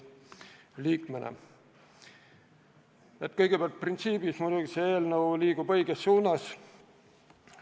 Kõigepealt, printsiibilt muidugi selle eelnõuga liigutakse õiges suunas.